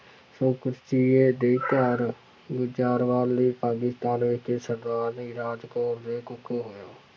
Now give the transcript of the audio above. ਦੇ ਘਰ ਗੁਜ਼ਰਾਂਵਾਲ ਦੇ ਪਾਕਿਸਤਾਨ ਵਿੱਚ ਸਰਦਾਰਨੀ ਰਾਜ ਕੌਰ ਦੇ ਕੁੱਖੋਂ ਹੋਇਆ।